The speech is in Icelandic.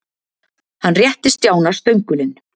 Hann rétti Stjána stöngulinn.